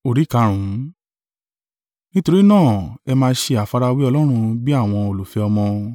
Nítorí náà, ẹ máa ṣe àfarawé Ọlọ́run bí àwọn olùfẹ́ ọmọ,